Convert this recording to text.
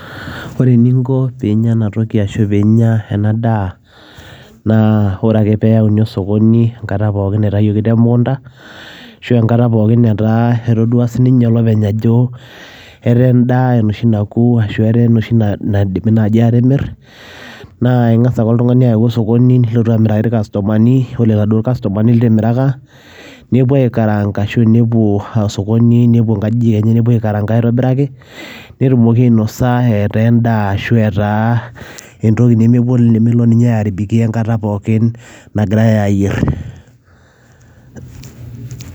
Ore eninko pinya ena toki arashu pinya ena daa naa ore ake peyauni osokoni enkata pookin naitayioki te mukunta ashu enkata pookin natoduaa sininye olopeny ajo etaa edaa enoshi naku ashu etaa enoshi naidimi naji atimir , naa ingas ake oltungani ayau osokoni , nilotu amiraki irkastoamani . Ore iladuoo kastomani litimiraka , nepuo aikaranka , nepuo osokoni , nepuo aikaranka netumoki ainosa etaa endaa ashu etaa entoki nemelo airabikia ninche enkata pookin nagirae ayier.